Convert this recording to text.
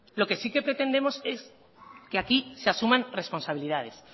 lo que sí que pretendemos es que aquí se asuman responsabilidades